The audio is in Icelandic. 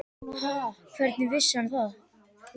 Ha, hvernig vissi hann það?